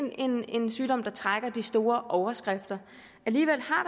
en sygdom der trækker de store overskrifter alligevel